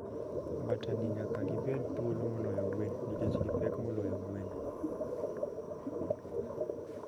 Mbata ni nyaka gibed thuolo moloyo gwen nikech gi pek moloyo gwen.